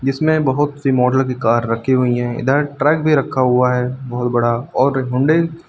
जिसमे बहोत सी मॉडल की कार रखी हुई हैं इधर ट्रक भी रखा हुआ है बहोत बड़ा और हुंडई --